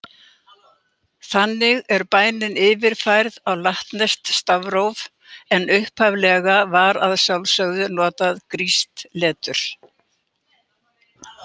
Þannig er bænin yfirfærð á latneskt stafróf, en upphaflega var að sjálfsögðu notað grískt letur: